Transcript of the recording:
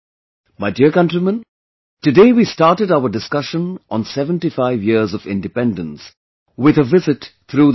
My dear countrymen, today we started our discussion on 75 years of Independence, with a visit across the country